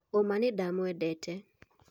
Oma nĩndamwendete